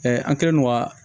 an kɛlen don ka